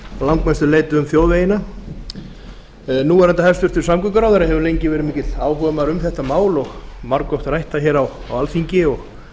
langmestu leyti um þjóðvegina núv hæstvirtur samgönguráðherra hefur lengi verið mikill áhugamaður um þetta mál og margoft rætt það hér á alþingi og